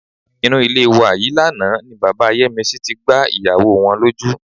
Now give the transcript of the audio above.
Inú ilé wa yìí lánàá ni bàbá Yẹ́misí tí gbá ìyàwó wọn lójú.